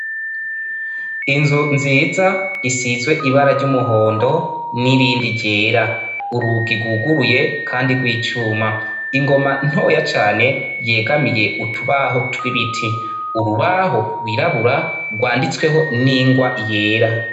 Inzu nziza isizwe ibara ry'umuhondo nirindi ryera, urugi rwuguruye kandi rw'icuma, ingoma ntoya cane yegamiye utubaho tw'ibiti, urubaho rwirabura rwanditsweho n'ingwa yera.